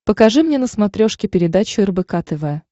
покажи мне на смотрешке передачу рбк тв